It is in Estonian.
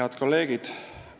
Head kolleegid!